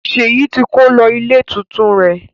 Seyi ti kó lọ ilé tuntun rẹ̀.